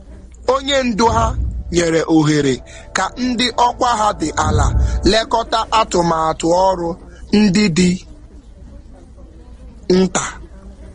Onye ndu otu ha mepụtara ohere ka ndị nke obere wee duzie akụkụ oru ngo dị nta.